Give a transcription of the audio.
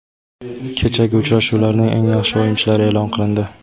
Kechagi uchrashuvlarning eng yaxshi o‘yinchilari e’lon qilindi.